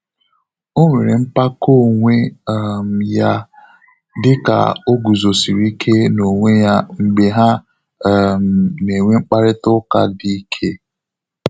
O nwere mpako onwe um ya dịka o guzosiri ike na onwe ya mgbe ha um na enwe mkparịta ụka dị ike